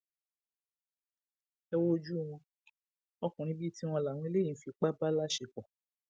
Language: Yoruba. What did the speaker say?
ẹ wojú wọn ọkùnrin bíi tiwọn làwọn eléyìí ń fipá bá láṣepọ